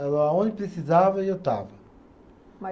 Aonde precisava eu estava.